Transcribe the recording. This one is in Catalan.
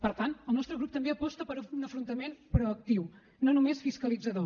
per tant el nostre grup també aposta per un afrontament proactiu no només fiscalitzador